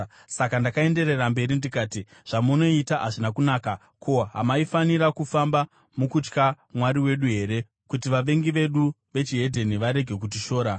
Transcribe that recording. Saka ndakaenderera mberi ndikati, “Zvamunoita hazvina kunaka. Ko, hamaifanira kufamba mukutya Mwari wedu here kuti vavengi vedu vechihedheni varege kutishora.